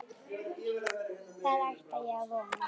Það ætla ég að vona.